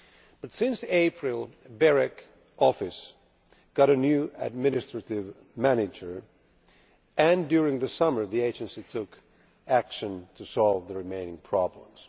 But since April, the BEREC office got a new administrative manager and during the summer the agency took action to solve the remaining problems.